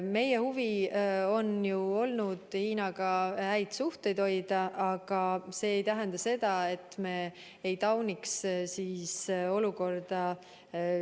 Meie huvi on ju olnud Hiinaga häid suhteid hoida, aga see ei tähenda seda, et me ei tauniks sealset olukorda.